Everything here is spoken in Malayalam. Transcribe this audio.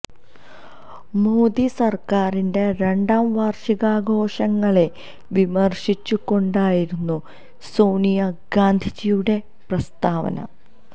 മോഡി സര്ക്കാരിന്റെ രണ്ടാം വാര്ഷികാഘോഷങ്ങളെ വിമര്ശിച്ചു കൊണ്ടായിരുന്നു സോണിയ ഗാന്ധിയുടെ പ്രസ്താവന